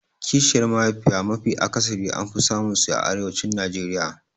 Kishiyar mahaifiya mafi akasari an fi samun su a arewacin Najeriya